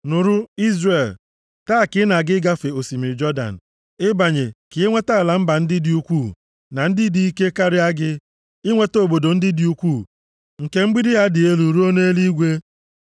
Nụrụ, Izrel! Taa ka ị na-aga ịgafe osimiri Jọdan ịbanye ka inweta ala mba ndị dị ukwuu na ndị dị ike karịa gị, inweta obodo ndị dị ukwuu nke nwere mgbidi ha dị elu ruo nʼeluigwe.